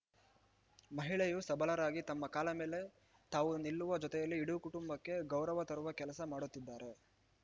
ಮಹಿಳೆಯು ಸಭಲರಾಗಿ ತಮ್ಮ ಕಾಲ ಮೇಲೆ ತಾವು ನಿಲ್ಲುವ ಜೊತೆಯಲ್ಲಿ ಇಡಿ ಕುಟುಂಬಕ್ಕೆ ಗೌರವ ತರುವ ಕೆಲಸ ಮಾಡುತಿದ್ದಾರೆ